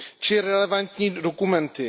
či relevantní dokumenty.